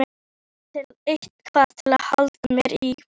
Eitthvað til að halda mér í.